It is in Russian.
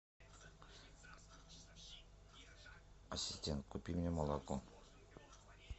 ассистент купи мне молоко